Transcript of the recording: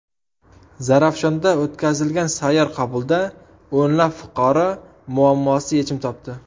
Zarafshonda o‘tkazilgan sayyor qabulda o‘nlab fuqaro muammosi yechim topdi.